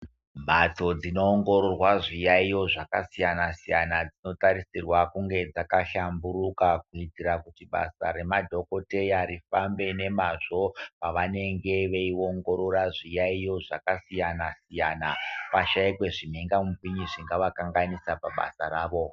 Mhatso dzinoongororwa zviyaiyo zvakasiyana-siyana dzinotarisirwa kunge dzakashamburuka kuitira kuti basa remadhokodheya rifambe nemazvo pavanenge veiongorora zviyaiyo zvakasiyana-siyana pashaikwe zvimhingamupini zvingavakanganisa pabasa ravo.